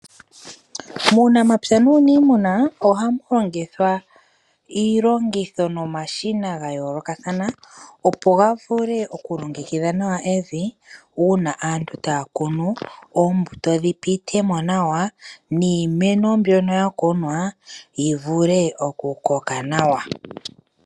Uunamapya nuunimuna ohamu longithwa iilongitho nomashina ga yoolokathana, opo ga vule okulongekidha nawa evi, uuna aantu taya kunu oombuto dhi pitemo nawa niimeno mbyono ya kunwa yi vule okukoka nawa.